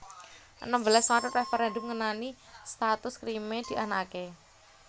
Enem belas Maret Réferèndum ngenani status Kriméa dianakaké